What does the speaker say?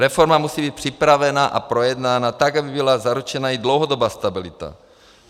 Reforma musí být připravena a projednána tak, aby byla zaručena i dlouhodobá stabilita.